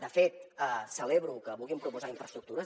de fet celebro que vulguin proposar infraestructures